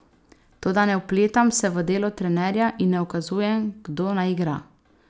Toda ne vpletam se v delo trenerja in ne ukazujem, kdo naj igra.